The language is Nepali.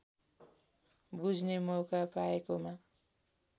बुझ्ने मौका पाएकोमा